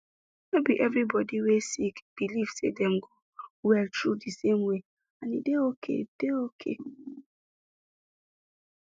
no be every body wey sick believe say dem go well through di same way and e dey okay dey okay